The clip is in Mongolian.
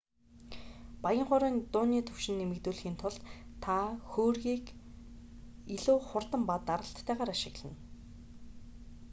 баян хуурын дууны түвшинг нэмэгдүүлэхийн тулд та хөөргийг илүү хурд ба даралттайгаар ашиглана